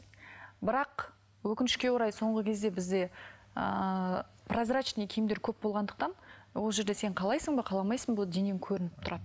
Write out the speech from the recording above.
бірақ өкінішке орай соңғы кезде бізде ыыы прозрачный киімдер көп болғандықтан ол жерде сен қалайсың ба қаламайсың ба денең көрініп тұрады